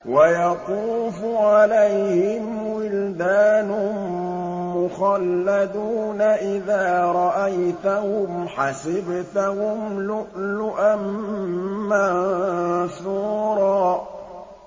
۞ وَيَطُوفُ عَلَيْهِمْ وِلْدَانٌ مُّخَلَّدُونَ إِذَا رَأَيْتَهُمْ حَسِبْتَهُمْ لُؤْلُؤًا مَّنثُورًا